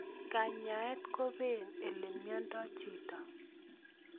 Kanyaet kopee ole miondoi chito